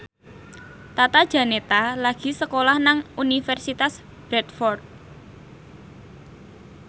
Tata Janeta lagi sekolah nang Universitas Bradford